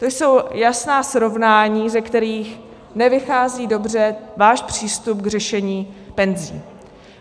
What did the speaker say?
To jsou jasná srovnání, ze kterých nevychází dobře váš přístup k řešení penzí.